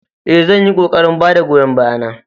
Ee, zan yi ƙoƙarin ba da goyon baya na